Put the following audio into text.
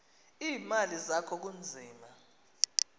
iimali zakho kunzima